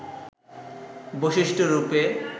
বৈশিষ্ট্য রূপে